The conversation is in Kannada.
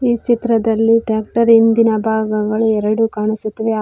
ಈ ಚಿತ್ರದಲ್ಲಿ ಟ್ಯಾಕ್ಟರ್ ಹಿಂದಿನ ಭಾಗಗಳು ಎರಡು ಕಾಣಿಸುತ್ತಿವೆ ಆ --